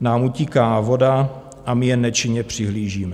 nám utíká voda a my jen nečinně přihlížíme.